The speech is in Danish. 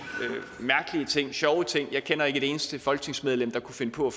mærkelige ting sjove ting jeg kender ikke et eneste folketingsmedlem der kunne finde på